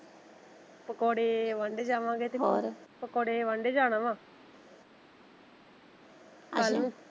ਪਕੋੜੇ ਵੰਡੇ ਜਾਵੇ ਹੋਰ ਪਕੋੜੇ ਵੰਡੇ ਜਾਣਾ ਵਾ .